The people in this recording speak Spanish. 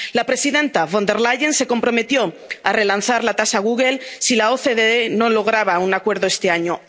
La presidenta Von der Leyen se comprometió a relanzar la tasa Google si la OCDE no lograba un acuerdo este año.